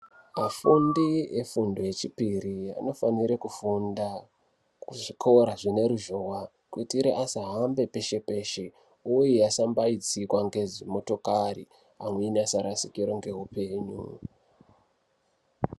Vafundi vefundo yechipiri anofanire kufunda kuzvikora zvineruzhowa kuitire asahambe peshe peshe uye asambaitsikwa ngedzimotokari amweni asarasikirwa ngeupenyu.